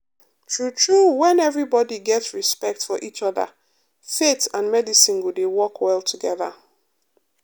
true true when everybody get respect for each other faith and medicine go dey work well together.